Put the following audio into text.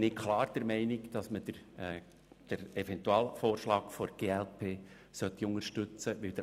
Ich bin deshalb klar der Meinung, dass wir den Eventualvorschlag der glp unterstützen sollten.